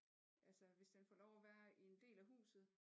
Altså hvis den får lov at være i en del af huset